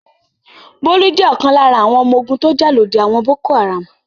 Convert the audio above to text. Bólú jẹ́ ọ̀kan lára àwọn ọmọ ogun tó jà lòdì àwọn Boko-Haram.